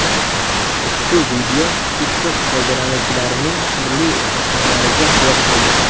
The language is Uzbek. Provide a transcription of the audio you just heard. Ushbu video TikTok foydalanuvchilarining turli muhokamalariga sabab bo‘ldi.